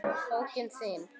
Bókin þín,